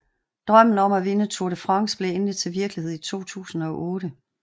Drømmen om at vinde Tour De France blev endelig til virkelighed i 2008